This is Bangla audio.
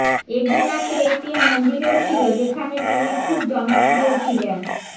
এগিনাতে একটি মন্দিরও ছিল যেখানে তিনি খুব জনপ্রিয় ছিলেনঃ